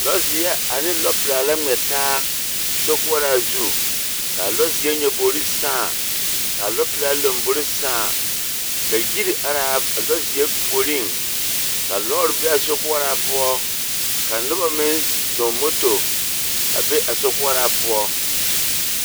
Lͻzeԑ ane lͻpelaa la ŋmԑ taa sokoͻraa zu. Ka a lͻzeԑ nyaboori sãã ka a lͻpelaa lombori sãã. Ka yiri araa lͻͻzeԑ puoriŋ. Ka lͻͻre be a sokoͻraa poͻ ka noba meŋ zͻͻŋ moto a be a sokoͻraa poͻ.